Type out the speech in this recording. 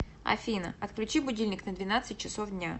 афина отключи будильник на двенадцать часов дня